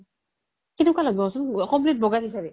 কেনেকুৱা লাগব কুৱাচোন complete বগা সিচাৰি